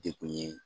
Dekun ye